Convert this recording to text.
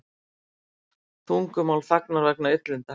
Tungumál þagnar vegna illinda